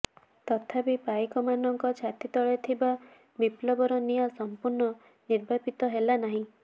ତଥାପି ପାଇକମାନଙ୍କ ଛାତି ତଳେ ଥିବା ବିପ୍ଳବର ନିଆଁ ସଂପୂର୍ଣ୍ଣ ନିର୍ବାପିତ ହେଲାନାହିଁ